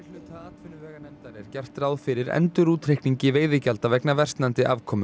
atvinnuveganefndar er gert ráð fyrir endurútreikningi veiðigjalda vegna versnandi afkomu